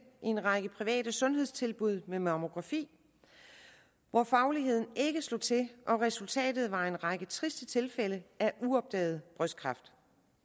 en række private sundhedstilbud med mammografi hvor fagligheden ikke slog til og resultatet var en række triste tilfælde af uopdaget brystkræft